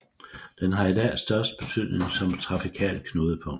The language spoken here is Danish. Den har i dag størst betydning som trafikalt knudepunkt